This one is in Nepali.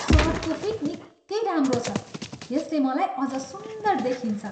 सर्टको फिट निकै राम्रो छ। यसले मलाई अझ सुन्दर देखिन्छ।